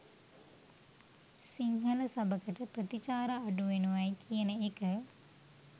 සිංහල සබකට ප්‍රතිචාර අඩුවෙනවයි කියන එක